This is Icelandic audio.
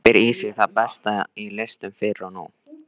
Gleypir í sig það besta í listum fyrr og nú.